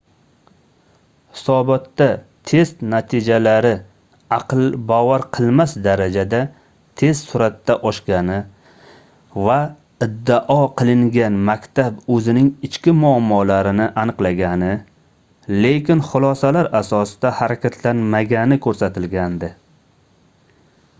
hisobotda test natijalari aql bovar qilmas darajada tez surʼatda oshgani va iddao qilingan maktab oʻzining ichki muammolarini aniqlagani lekin xulosalar asosida harakatlanmagani koʻrsatilgandi